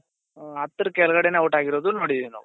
ಹತ್ತರ ಕೆಳಗಡೆನೆ out ಆಗಿರೋದು ನೋಡಿದಿರಿ ನಾವು